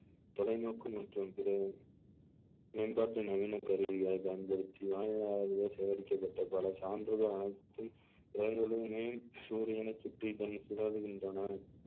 தொலைநோக்கு மற்றும் பிற மேம்பாட்டு நவீன கருவிகளை பயன்படுத்தி வானிலையாளர்கள் சேகரிக்கப்பட்ட பல சான்றுகள் அனைத்தும் சூரியனை சுற்றி தன்னை சுழலுகின்றன